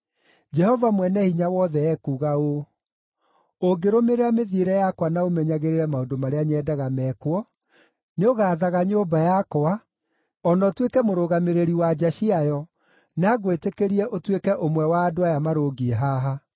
“Jehova Mwene-Hinya-Wothe ekuuga ũũ, ‘Ũngĩrũmĩrĩra mĩthiĩre yakwa na ũmenyagĩrĩre maũndũ marĩa nyendaga mekwo, nĩũgaathaga nyũmba yakwa, o na ũtuĩke mũrũgamĩrĩri wa nja ciayo, na ngwĩtĩkĩrie ũtuĩke ũmwe wa andũ aya marũngiĩ haha.